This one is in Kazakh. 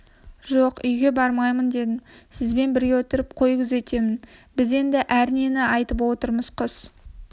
жоқ үйге бармаймын дедім сізбен бірге отырып қой күзетемін біз енді әр нені айтып отырмыз құс